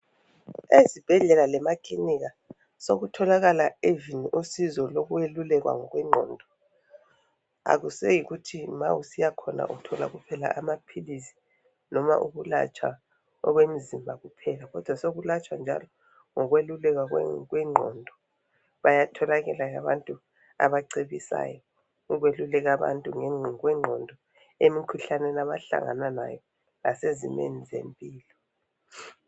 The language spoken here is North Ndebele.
Ezibhedlela lemakilinika sekutholakala even usizo lokwelulekwa ngokwengqondo. Akuyiseyikuthi ma usiya khona, uthola kuphela amaphilisi. Noma ukulatshwa okwemzimba kuphela, kodwa sokulatshwa njalo ngokululekwa kwengqondo. Bayatholakala abantu abacebisayo ukweluleka abantu ngokwengqondo. Emikhuhlaneni abahlangana layo. Lasezimeni zempilo.